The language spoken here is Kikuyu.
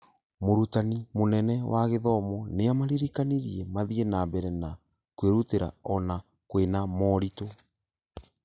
Mũrutani mũnene wa gĩthomo nĩamaririkanirie mathiĩ na mbere na kwĩrutĩra ona kwĩna moritũ